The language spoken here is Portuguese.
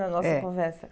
É. Na nossa conversa.